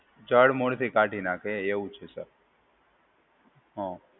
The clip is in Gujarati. જડમુળથી કાઢી નાખે એવું છે સર. હા.